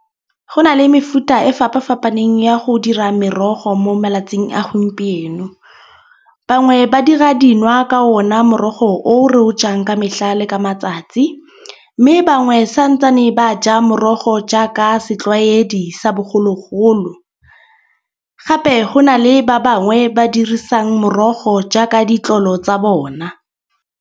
Go na le mefuta e fapafapaneng ya go dira merogo mo malatsing a gompieno. Bangwe ba dira dinwa ka ona morogo o re o jang ka metlha le ka matsatsi. Mme bangwe santsane ba ja morogo jaaka setlwaedi sa bogologolo. Gape go na le ba bangwe ba dirisang morogo jaaka ditlolo tsa bona.